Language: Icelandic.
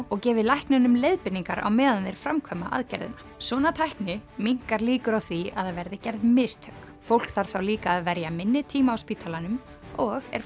og gefið læknunum leiðbeiningar á meðan þeir framkvæma aðgerðina svona tækni minnkar líkur á því að það verði gerð mistök fólk þarf þá líka að verja minni tíma á spítalanum og er